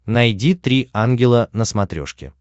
найди три ангела на смотрешке